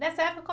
nessa época....